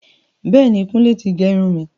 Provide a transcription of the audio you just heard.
Bẹẹni, Kùnlé ti gé irun mi.